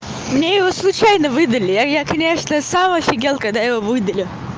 мне его случайно выдали я я конечно сам офигел когда его выдали